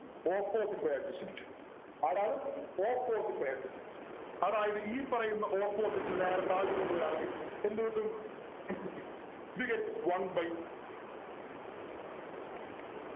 Opposite by adjacent ആരാണ് Opposite by adjacent അതായത് ഈ പറയുന്ന Opposite നെ നേരെ താഴത്ത് കൊണ്ടുവരുവാണെങ്കിൽ എന്ത് കിട്ടും we get one by